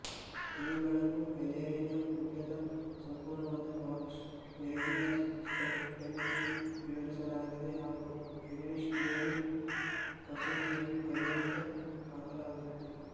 ಇವುಗಳನ್ನು ಬ್ಯಾಲೆರಿನಉದ್ದದ ಸಂಪೂರ್ಣವಾದ ಬಾಕ್ಸ್ ನೆರಿಗೆಯ ಸ್ಕರ್ಟ್ ಎಂದು ವಿವರಿಸಲಾಗಿದೆ ಹಾಗು ಇಂಗ್ಲಿಷ್ ಕ್ಲೂನಿ ಕಸೂತಿಯನ್ನು ಕೈಯಿಂದ ಹಾಕಲಾಗಿತ್ತು